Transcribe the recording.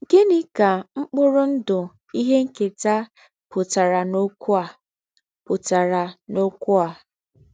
Gịnị ka mkpụrụ ndụ ihe nketa pụtara n'okwu a? pụtara n'okwu a? um